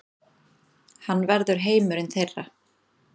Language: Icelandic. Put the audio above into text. Hann verður heimurinn þeirra.